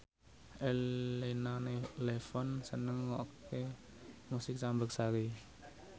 Elena Levon seneng ngrungokne musik campursari